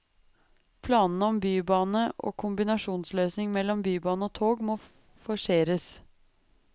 Planene om bybane og kombinasjonsløsning mellom bybane og tog må forseres.